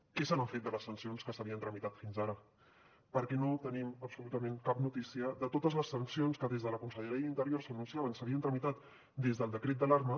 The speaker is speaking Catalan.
què se n’ha fet de les sancions que s’havien tramitat fins ara perquè no tenim absolutament cap notícia de totes les sancions que des de la conselleria d’interior s’anunciava que s’havien tramitat des del decret d’alarma